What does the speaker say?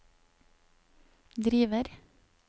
driver